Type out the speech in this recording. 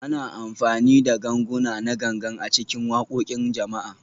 Ana amfani da ganguna na Gangan a cikin waƙoƙin jama'a